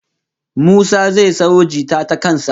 Musa zai sayo jita ta kan sa